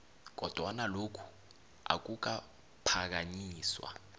kodwana lokhu akukaphakanyiswa